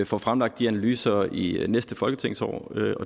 få fremlagt de analyser i næste folketingsår